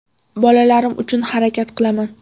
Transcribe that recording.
Bolalarim uchun harakat qilaman.